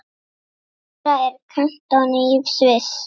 Júra er kantóna í Sviss.